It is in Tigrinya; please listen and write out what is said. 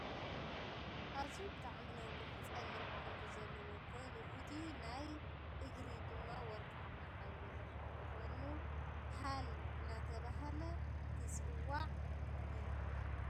ኣዝዩ ብጣዕሚ ነዊሕ ፀሊለም ሕብሪ ዘለዎ ከኮኒ እቱይ ናይ እግሪ ድማ ወርቃማ ሕብሪ ዝሓዘ ኮይኑ ሃል እናተባህለ ትፅዋዕ እዩ ።